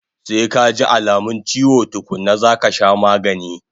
Sai kaji alamun chiwo tukkuna zaka sha magani